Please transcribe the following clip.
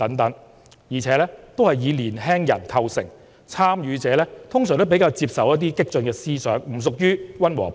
這些參與者主要是年輕人，他們通常比較接受激進的思想，不屬於溫和派。